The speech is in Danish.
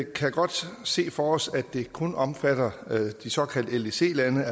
kan godt se for os at det kun omfatter de såkaldte ldc lande